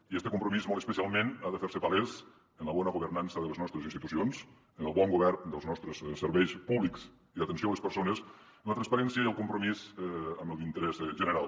i este compromís molt especialment ha de fer se palès en la bona governança de les nostres institucions en el bon govern dels nostres serveis públics i d’atenció a les persones en la transparència i el compromís amb l’interès general